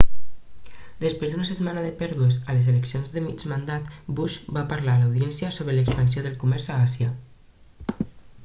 després d'una setmana de pèrdues a les eleccions de mig mandat bush va parlar a l'audiència sobre l'expansió del comerç a àsia